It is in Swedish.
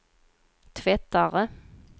tvättare